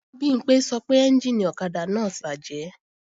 Bimpé sọ pé ẹ́njìnì ọ̀kadà náà ti bàjẹ́